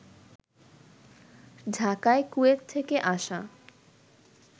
ঢাকায় কুয়েত থেকে আসা